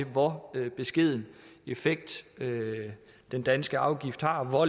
hvor beskeden effekt den danske afgift har og hvor